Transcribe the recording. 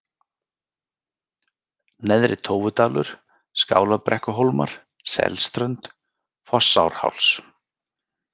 Neðri-Tófudalur, Skálabrekkuhólmar, Selströnd, Fossárháls